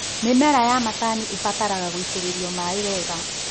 Mĩmera ya macani ĩbataraga gũitĩrĩrio maĩ wega.